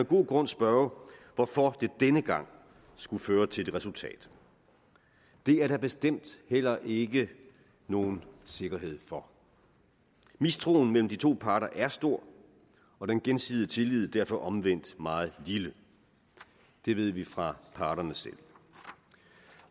god grund spørge hvorfor det denne gang skulle føre til et resultat det er der bestemt heller ikke nogen sikkerhed for mistroen mellem de to parter er stor og den gensidige tillid derfor omvendt meget lille det ved vi fra parterne selv